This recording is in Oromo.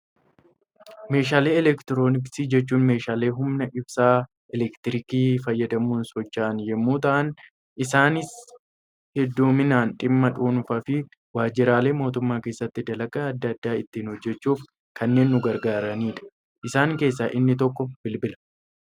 Meeshaalee eleektirooniksii jechuun, meeshaalee humna ibsaa eleektirikii fayyadamuun socho'an yemmuu ta'an, isaanis hedduminaan dhimma dhuunfaa fi waajiraalee mootummaa keessatti dalagaa addaa addaa ittiin hojjechuuf kanneen nu gargaaranidha. Isaan keessaa inni tokko bilbila.